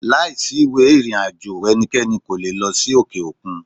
Láìsí ìwé ìrìn àjò ẹnikẹ́ni kò le è lọ sí òkè òkun.